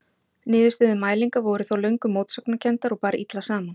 Niðurstöður mælinga voru þó löngum mótsagnakenndar og bar illa saman.